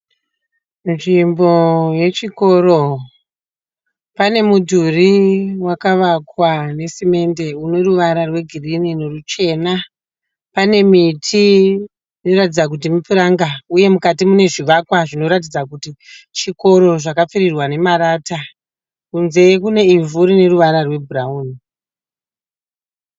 Nzvimbo yechikoro. Pane mudhuri wakavakwa nesemende une ruvara rwegirinhi neruchena. Pane miti inoratidza kuti mipuranga uye mukati mune zvivakwa zvinoratidza kuti chikoro zvakapfirirwa nemarata. Kunze kune ivhu rine ruvara rwebhurawuni.